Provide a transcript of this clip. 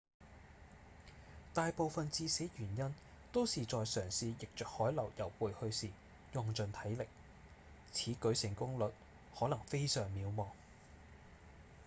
大部分致死原因都是在嘗試逆著海流游回去時用盡體力此舉成功率可能非常渺茫